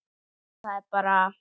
Það er bara.